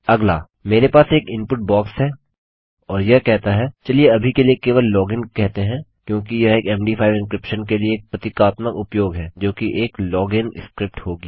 अगला मेरे पास एक इनपुट बॉक्स है और यह कहता है चलिए अभी के लिए केवल लॉगिन कहते हैं क्योंकि यह एक मद5 एन्क्रिप्शन के लिए एक प्रतीकात्मक उपयोग है जोकि एक log इन स्क्रिप्ट होगी